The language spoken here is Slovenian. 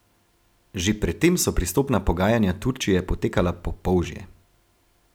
Že pred tem so pristopna pogajanja Turčije potekala po polžje.